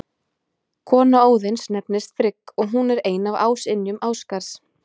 Kona Óðins nefnist Frigg og hún er ein af ásynjum Ásgarðs.